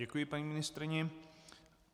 Děkuji paní ministryni.